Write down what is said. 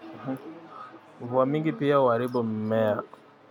Mvua mingi pia huharibu mimea